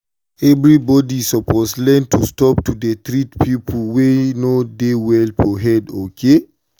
everybody suppose learn to stop to dey treat people wey no well for head okay.